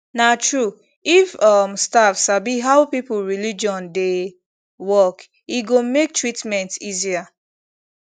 na true if um staff sabi how people religion dey work e go make treatment easier